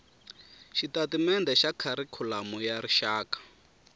xitatimendhe xa kharikhulamu ya rixaka